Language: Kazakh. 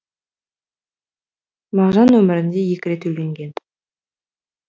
мағжан өмірінде екі рет үйленген